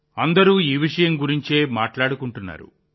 అందరూ ఈ విషయం గురించే మాట్లాడుకుంటున్నారు